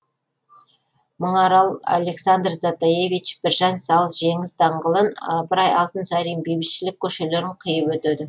мыңарал александр затаевич біржан сал жеңіс даңғылын ыбырай алтынсарин бейбітшілік көшелерін қиып өтеді